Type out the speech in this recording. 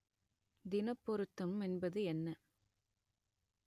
தினப் பொருத்தம் என்பது என்ன